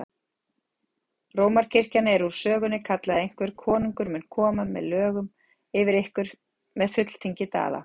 Rómarkirkjan er úr sögunni, kallaði einhver,-konungur mun koma lögum yfir ykkur með fulltingi Daða!